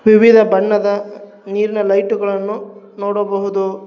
ವಿವಿಧ ಬಣ್ಣದ ನೀರ್ನ ಲೈಟುಗಳನ್ನು ನೋಡಬಹುದು.